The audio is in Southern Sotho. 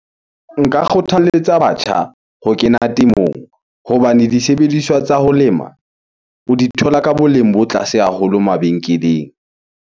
Nka kgothaletsa batjha ho kena temong. Hobane disebediswa tsa ho lema o di thola ka boleng bo tlase haholo mabenkeleng.